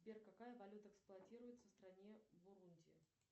сбер какая валюта эксплуатируется в стране бурунди